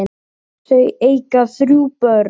Hún lítur upp fyrir blöðin.